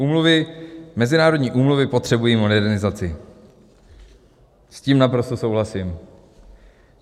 Úmluvy, mezinárodní úmluvy potřebují modernizaci: S tím naprosto souhlasím.